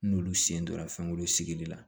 N'olu sen donna fɛnkɔnɔ sigili la